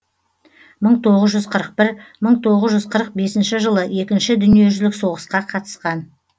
мың тоғыз жүз қырық бір мың тоғыз жүз қырық бесінші жылы екінші дүниежүзілік соғысқа қатысқан